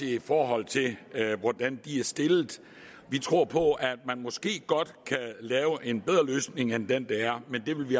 i forhold til hvordan de er stillet vi tror på at man måske godt kan lave en bedre løsning end den der er men det vil vi